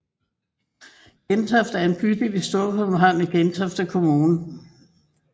Gentofte er en bydel i Storkøbenhavn i Gentofte Kommune